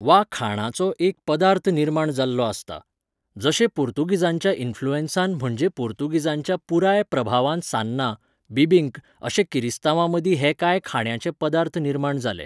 वा खाणाचो एक पदार्थ निर्माण जाल्लो आस्ता. जशे पुर्तुगीजांच्या इनफ्लुंनसान म्हणजे पुर्तुगीजांच्या पुराय प्रभावान सान्नां, बिबींक अशे किरिस्तावां मदीं हे कांय खाणांचें पदार्थ निर्माण जाले